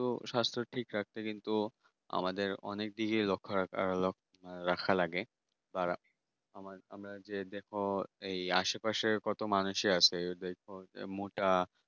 তো স্বাস্থ্য ঠিক রাখতে কিন্তু আমাদেরকে অনেক দিক এ লক্ষ্য রাখা লাগে আশেপাশের কত মানুষ এ আছে দেখো মোটা